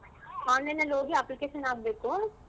Online ಅಲ್ಲಿ ಹೋಗಿ application ಹಾಕ್ಬೇಕು.